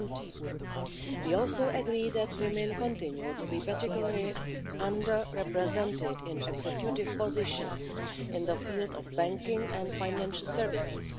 20. We also agree that women continue to be particularly under represented in executive positions in the field of banking and financial services.